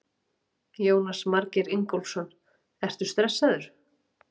Jónas Margeir Ingólfsson: Ertu stressaður?